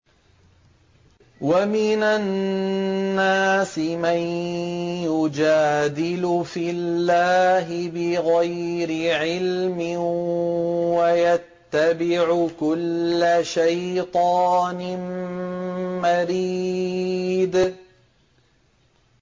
وَمِنَ النَّاسِ مَن يُجَادِلُ فِي اللَّهِ بِغَيْرِ عِلْمٍ وَيَتَّبِعُ كُلَّ شَيْطَانٍ مَّرِيدٍ